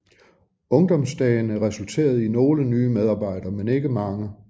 Ungdomsdagene resulterede i nogle nye medarbejdere men ikke mange